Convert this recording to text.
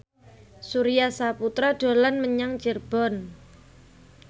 Surya Saputra dolan menyang Cirebon